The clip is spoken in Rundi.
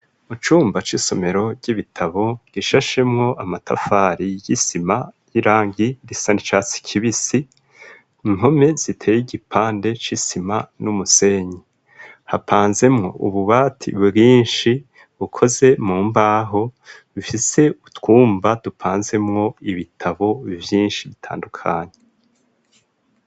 Mu cumba c'isomero ry'ibitabo gishashemwo amatafari y'isima y'irangi risa n'icatsi kibisi, impome ziteye igipande c'isima n'umusenyi, hapanzemwo ububati bwinshi bukoze mu mbaho bifise utwumba dupanzemwo ibitabo vyinshi bitandukanye.